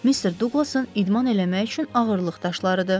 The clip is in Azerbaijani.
Mr. Duqlasın idman eləmək üçün ağırlıq daşlarıdır.